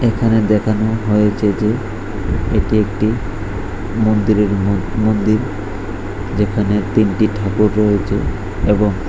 এখানে দেখানো হয়েছে যে এটি একটি মন্দিরের মন্দির যেখানে তিনটি ঠাকুর রয়েছে এবং--